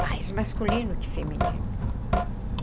Mais masculino que feminino.